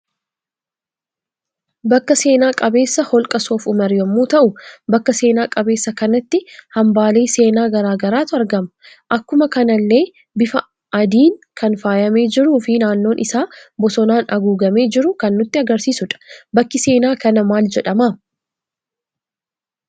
Bakka seenaa qabeessa holqa soofumar yemmuu ta'u, bakka seena qabeessa kanatti hambaalee seenaa garaagaraatu argama. Akkuma kanallee bifa aadiin kan faayyame jiruu fi naannoon isaa bosonaan aguugame jiru kan nutti agarsiisudha. bakki seena kana maal jedhama?